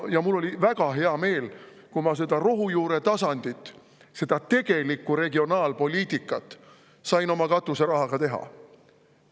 Ja mul oli väga hea meel, kui ma seda rohujuure tasandit ja tegelikku regionaalpoliitikat teha.